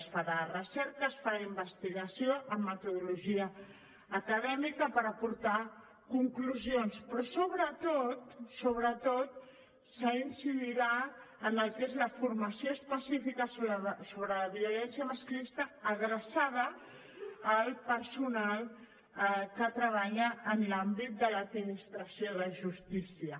es farà recerca es farà investigació amb metodologia acadèmica per aportar conclusions però sobretot sobretot s’incidirà en el que és la formació específica sobre la violència masclista adreçada al personal que treballa en l’àmbit de l’administració de justícia